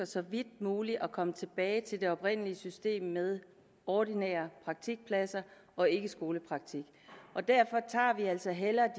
så vidt muligt ønsker at komme tilbage til det oprindelige system med ordinære praktikpladser og ikke skolepraktik derfor tager vi altså hellere